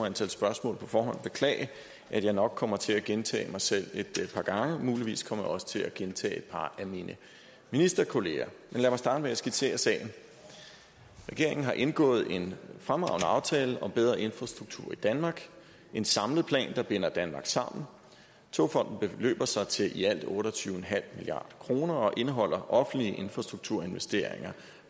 antal spørgsmål på forhånd beklage at jeg nok kommer til at gentage mig selv et par gange og muligvis kommer jeg også til at gentage et par af mine ministerkolleger men lad mig starte med at skitsere sagen regeringen har indgået en fremragende aftale om bedre infrastruktur i danmark en samlet plan der binder danmark sammen togfonden dk beløber sig til i alt otte og tyve milliard kroner og indeholder offentlige infrastrukturinvesteringer